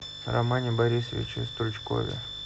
романе борисовиче стручкове